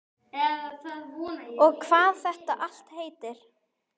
Og hvað þetta allt heitir.